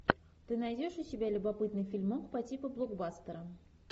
ты найдешь у себя любопытный фильмок по типу блокбастера